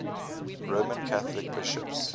roman catholic bishops